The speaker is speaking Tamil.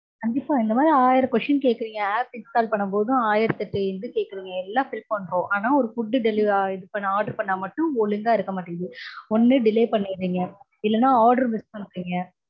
கண்டிப்பா. இந்த மாதிரி ஆயிரம் questions கேக்கறீங்க. app install பண்ணும்போதும் ஆயிரத்தெட்டு இது கேக்கறீங்க எல்லாம் fill பண்றோம். ஆனா ஒரு food order பண்ணா மட்டும் ஒழுங்கா இருக்க மாட்டேங்குது. ஒன்னு delay பண்ணிடுறீங்க இல்லனா order miss பண்றீங்க.